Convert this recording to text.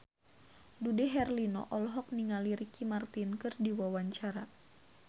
Dude Herlino olohok ningali Ricky Martin keur diwawancara